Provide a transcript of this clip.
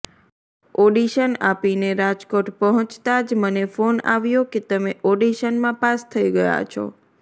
audition આપીને રાજકોટ પહોંચતા જ મને ફોન આવ્યો કે તમે ઓડિશનમાં પાસ થઈ ગયા છો